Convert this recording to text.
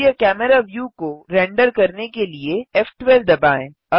सक्रिय camera view को render करने के लिए फ़12 दबाएँ